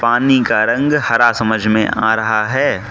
पानी का रंग हरा समझ में आ रहा है।